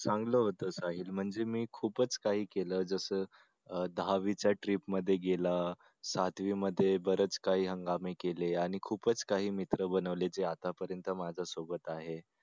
चांगलं होत काही म्हणजे मी खूपच काही केलं जस दहावीच्या trip मध्ये गेला सातवीमध्ये बरेच काही हंगामे केले आणि खूपच काही मित्र बनवले जे आतापर्यंत माझ्यासोबत आहेत.